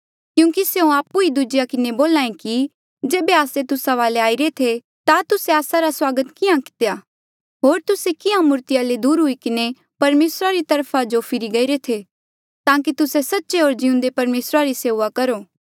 क्यूंकि स्यों आपु ई दूजेया किन्हें बोल्या ऐें कि जेबे आस्से तुस्सा वाले आईरे थे ता तुस्से आस्सा रा स्वागत किहाँ कितेया था होर तुस्से किहाँ मूर्तिया ले दूर हुई किन्हें परमेसरा री वखा जो फिरे ताकि तुस्से सच्चे होर जिउंदे परमेसरा री सेऊआ करो